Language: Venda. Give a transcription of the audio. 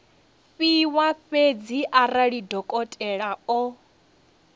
fhiwa fhedzi arali dokotela o